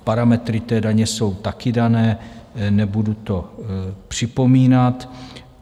Parametry té daně jsou taky dané, nebudu to připomínat.